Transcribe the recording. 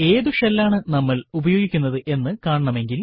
ഏതു ഷെൽ ആണ് നമ്മൾ ഉപയോഗിക്കുന്നത് എന്ന് കാണണമെങ്കിൽ